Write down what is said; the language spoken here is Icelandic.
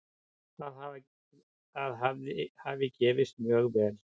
Það hafi gefist mjög vel.